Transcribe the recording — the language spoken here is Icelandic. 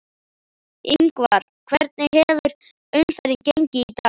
Ingvar, hvernig hefur umferðin gengið í dag?